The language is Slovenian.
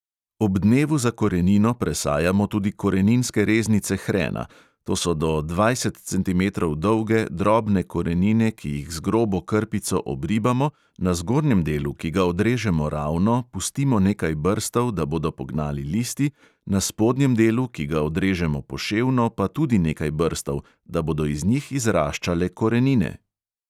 Ob dnevu za korenino presajamo tudi koreninske reznice hrena, to so do dvajset centimetrov dolge, drobne korenine, ki jih z grobo krpico obribamo, na zgornjem delu, ki ga odrežemo ravno, pustimo nekaj brstov, da bodo pognali listi, na spodnjem delu, ki ga odrežemo poševno, pa tudi nekaj brstov, da bodo iz njih izraščale korenine.